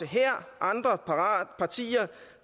her andre partier